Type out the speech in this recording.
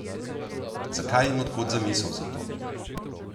Zakaj in od kod zamisel za to?